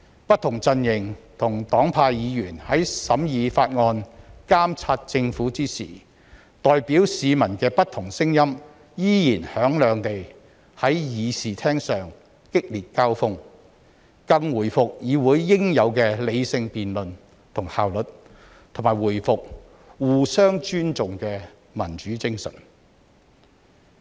不同陣營和黨派的議員在審議法案、監察政府時，代表市民的不同聲音依然響亮地在議事廳上激烈交鋒，更回復議會應有的理性辯論和效率，以及重拾互相尊重的民主精神。